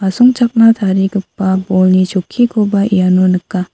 songchakna tarigipa bolni chokkikoba iano nika.